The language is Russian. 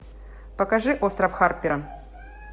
покажи остров харпера